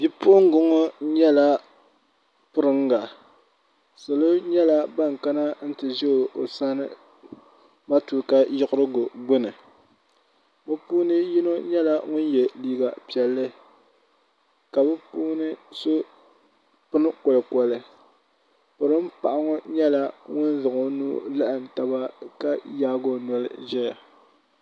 bipuɣinga ŋɔ nyɛla piringa salo nyɛla ban kana n-ti ʒe o sani matuuka yiɣirigu gbunni bɛ puuni yino nyɛla ŋun ye liiga piɛlli ka bɛ puuni so pini kɔlikɔli pirin' paɣa ŋɔ nyɛla ŋun zaŋ o nuu laɣim taba ka yaagi o noli ʒe ya.